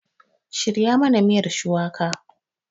Shirya mana miyar shuwaka!